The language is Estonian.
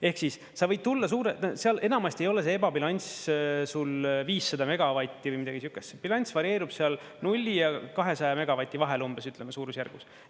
Ehk siis, sa võid tulla … seal enamasti ei ole see ebabilanss sul 500 megavatti või midagi siukest, bilanss varieerub seal 0 ja 200 megavati vahel umbes, ütleme suurusjärgus.